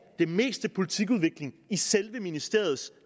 det meste politikudvikling i selve ministeriets